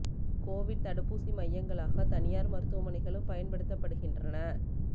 Covid தடுப்பூசி மையங்களாக தனியார் மருதுவமனைகளும் பயன்படுத்தப்படுகின்றன